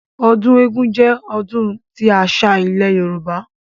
Ọdún eégún jẹ́ ọdún tí ọ́ṣá ilẹ̀ Yorùbá